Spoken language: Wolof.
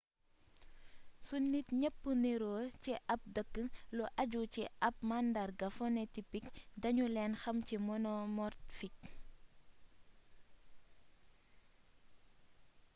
su nit ñepp niroo ci ab dëkk lu ajju ci ab màndarga phenotipik dañu leen xam ci monomorfik